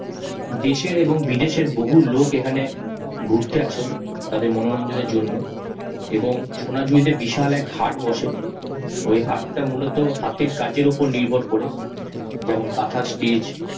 দেশের এবং বিদেশের বহু লোক এখানে ঘুরতে আসেন তাদের মনোরঞ্জনের জন্য এবং সোনাঝুরিতে বিশাল এক হাট বসে, ওই হাট টা মূলত হাতের কাজের উপর নির্ভর করে। যেমন কাঁথা steach